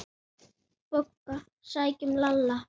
BOGGA: Sækjum Lalla!